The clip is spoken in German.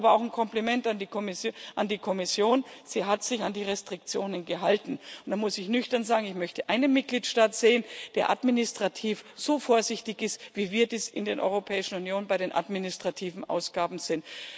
Deshalb aber auch ein Kompliment an die Kommission Sie hat sich an die Restriktionen gehalten, und da muss ich nüchtern sagen Ich möchte einen Mitgliedstaat sehen, der administrativ so vorsichtig ist, wie wir dies in der Europäischen Union bei den administrativen Ausgaben sind.